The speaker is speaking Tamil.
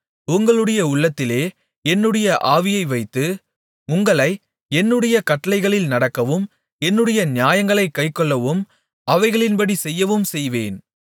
உங்களுடைய உள்ளத்திலே என்னுடைய ஆவியை வைத்து உங்களை என்னுடைய கட்டளைகளில் நடக்கவும் என்னுடைய நியாயங்களைக் கைக்கொள்ளவும் அவைகளின்படி செய்யவும்செய்வேன்